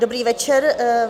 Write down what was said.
Dobrý večer.